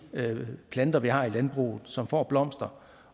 planter vi har i landbruget som får blomster